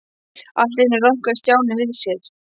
Allt í einu rankaði Stjáni við sér.